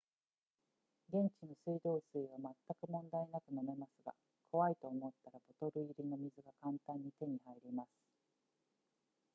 現地の水道水は全く問題なく飲めますが怖いと思ったらボトル入りの水が簡単に手に入ります